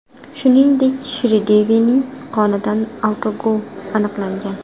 Shuningdek, Shridevining qonidan alkogol aniqlangan.